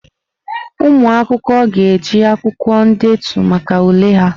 Ụmụ akwụkwọ ga-eji akwụkwọ ndetu maka ule ha.